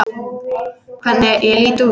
Hvernig ég lít út!